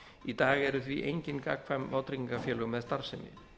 í dag eru því engin gagnkvæm vátryggingafélög með starfsemi